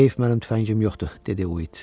Heyf mənim tüfəngim yoxdur, dedi Uid.